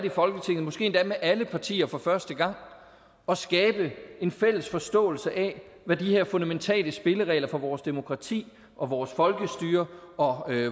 i folketinget måske endda med alle partier for første gang og skabe en fælles forståelse af hvad de her fundamentale spilleregler for vores demokrati og vores folkestyre og